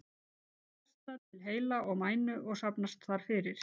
Svo berst það til heila og mænu og safnast þar fyrir.